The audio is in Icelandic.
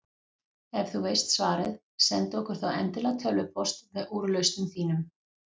Ef þú veist svarið, sendu okkur þá endilega tölvupóst með úrlausnum þínum.